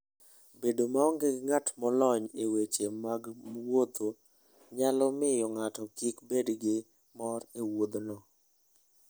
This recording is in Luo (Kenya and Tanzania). Bedo maonge gi ng'at molony e weche mag wuodhno, nyalo miyo ng'ato kik bed gi mor e wuodhno.